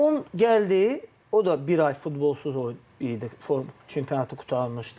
O gəldi, o da bir ay futbolsuz oyun idi çempionatı qurtarmışdı.